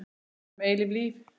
Von um eilíft líf.